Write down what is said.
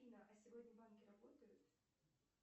афина а сегодня банки работают